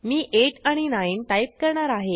मी 8 आणि 9 टाईप करणार आहे